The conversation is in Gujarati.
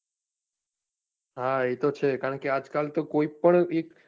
હા એ તો છે કારણ કે આજકાલ તો કોઈ પણ